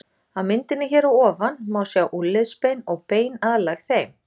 Á myndinni hér að ofan má sjá úlnliðsbein og bein aðlæg þeim.